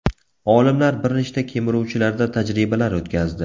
Olimlar bir nechta kemiruvchilarda tajribalar o‘tkazdi.